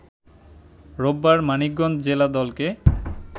রোববার মানিকগঞ্জ জেলা দলকে